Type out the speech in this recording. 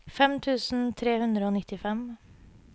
fem tusen tre hundre og nittifem